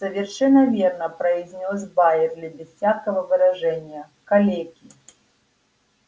совершенно верно произнёс байерли без всякого выражения калеки